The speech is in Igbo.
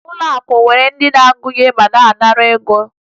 Ụlọakụ nwere ndị na-agụnye ma na-anara ego